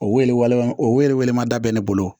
O woyo waleman o yɛrɛ wele man da bɛ ne bolo